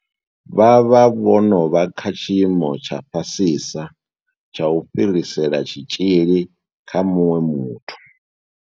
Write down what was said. Vha vha vho no vha kha tshiimo tsha fhasisa tsha u fhirisela tshitzhili kha muṅwe muthu.